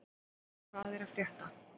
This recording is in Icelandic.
Hvað er að frétta?